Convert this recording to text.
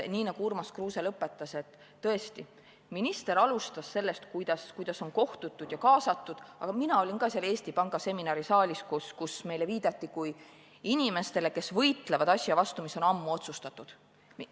Nii nagu Urmas Kruuse lõpetas, tõesti, minister alustas sellest, kuidas on kohtutud ja kaasatud, aga mina olin ka seal Eesti Panga seminarisaalis, kus meile viidati kui inimestele, kes võitlevad asja vastu, mis on ammu otsustatud.